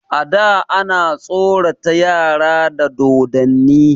A da ana tsorata yara da dodonni.